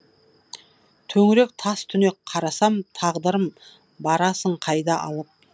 төңірек тас түнек қарасам тағдырым барасың қайда алып